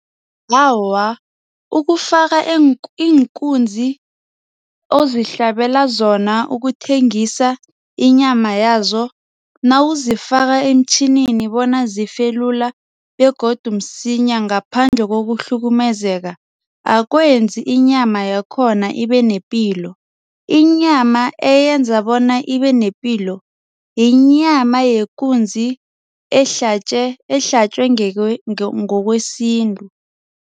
Awa, ukufaka iinkunzi ozihlabela zona ukuthengisa inyama yazo. Nawuzifaka emtjhinini bona zife lula begodu msinya ngaphandle ngokuhlukumezeka akwenzi inyama yakhona ibe nepilo. Inyama eyenza bona ibe nepilo yinyama yekunzi ehlatjwe ngokwesintu.